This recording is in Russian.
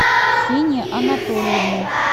ксении анатольевны